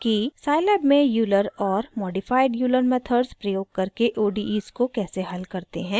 scilab में euler और modified euler methods प्रयोग करके odes को कैसे हल करते हैं